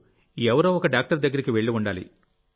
ఎవరో డాక్టర్ దగ్గరకు వెళ్లి ఉండాలి